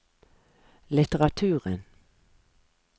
litteraturen